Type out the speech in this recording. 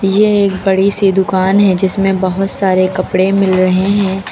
यह एक बड़ी सी दुकान है जिसमें बहुत सारे कपड़े मिल रहे हैं।